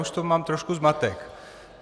Už v tom mám trošku zmatek.